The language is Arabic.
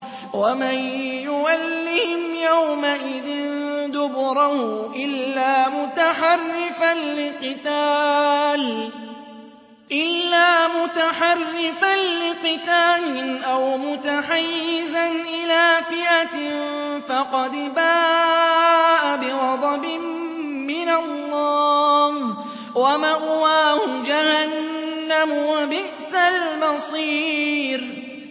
وَمَن يُوَلِّهِمْ يَوْمَئِذٍ دُبُرَهُ إِلَّا مُتَحَرِّفًا لِّقِتَالٍ أَوْ مُتَحَيِّزًا إِلَىٰ فِئَةٍ فَقَدْ بَاءَ بِغَضَبٍ مِّنَ اللَّهِ وَمَأْوَاهُ جَهَنَّمُ ۖ وَبِئْسَ الْمَصِيرُ